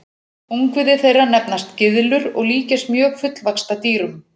Ungviði þeirra nefnast gyðlur og líkjast mjög fullvaxta dýrum.